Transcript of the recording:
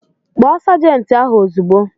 Kpọọ sajenti ahụ ozugbo!